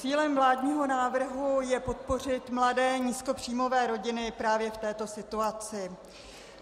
Cílem vládního návrhu je podpořit mladé nízkopříjmové rodiny právě v této situaci.